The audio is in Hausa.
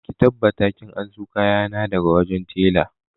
Ka tabbata ka anso kayana daga wajen tela!